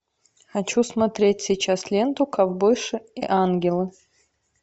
хочу смотреть сейчас ленту ковбойши и ангелы